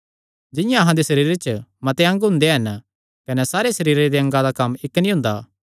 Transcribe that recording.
जिंआं अहां दे सरीरे च मते अंग हुंदे हन कने सारे सरीरे दे अंगा दा कम्म इक्क नीं हुंदा